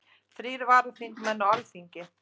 Þrír varaþingmenn á Alþingi